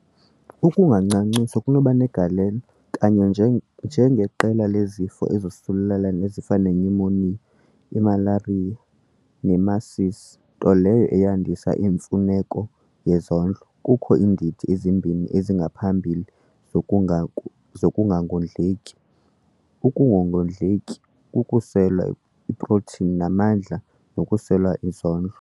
Ukungancanciswa kunokuba negalelo, kanye nje njengeqela lezifo ezosulelayo ezifana- ], inyumoniya, imalariya nemasisi nto leyo eyandisa imfuneko yezondlo. Kukho iindidi ezimbini eziphambili zoknga zokungangondleki- ukungondleki kokuswela iprotini namandla nokuswela izondlo.